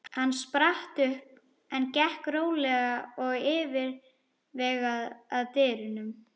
Hann spratt upp en gekk rólega og yfirvegað að dyrunum.